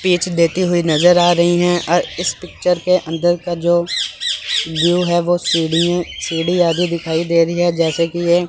देते हुए नजर आ रही है। इस पिक्चर के अंदर का जो व्यू है सीडी सीडी आगे दिखाई दे रही है जैसे की ये--